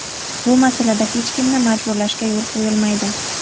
Bu masalada hech kimni majburlashga yo‘l qo‘yilmaydi.